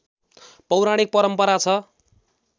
पौराणिक परम्परा छ